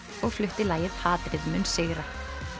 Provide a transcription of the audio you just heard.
og flutti lagið hatrið mun sigra